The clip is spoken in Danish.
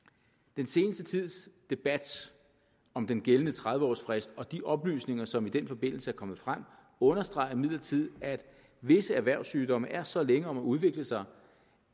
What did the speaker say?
den seneste tids debat om den gældende tredive års frist og de oplysninger som i den forbindelse er kommet frem understreger imidlertid at visse erhvervssygdomme er så længe om at udvikle sig